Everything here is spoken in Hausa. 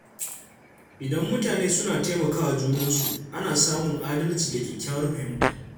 Idan mutane suna taimakawa junansu, ana samun adalci da kyakkyawar fahimta.